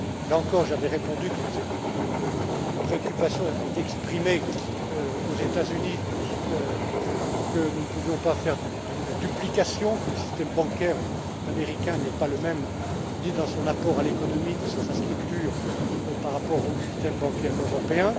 Là encore, j'avais répondu, quand cette préoccupation a été exprimée aux États Unis, que nous ne pouvions pas faire de la duplication, que le système bancaire américain n'est pas le même ni dans son apport à l'économie ni dans sa structure que le système bancaire européen.